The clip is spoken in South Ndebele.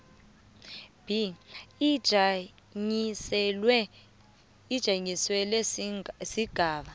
b ijanyiselelwe sigaba